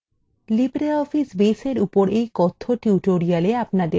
libreoffice base এর উপর এই কথ্য tutorial আপনাদের স্বাগত